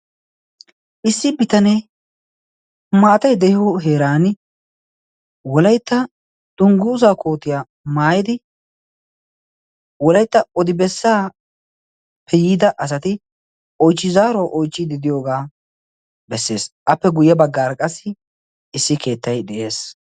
Issi bitanee maatay de"iyo heeraani wolaytta dunguzaa kootiya maayidi wolaytta odi bessaappe yiida asati oyichi zaaruwa oyichchiidi diyooga bessees. Appe guye baggaara qassi issi keettay de"es.